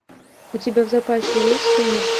у тебя в запасе есть сумерки